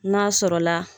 N'a sɔrɔla